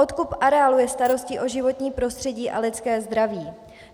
Odkup areálu je starostí o životní prostředí a lidské zdraví.